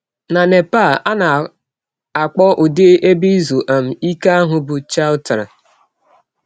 Na Nepal, a na - akpọ ụdị ebe izu um ike ahụ bụ chautara.